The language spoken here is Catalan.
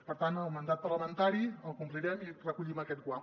per tant el mandat parlamentari el complirem i recollim aquest guant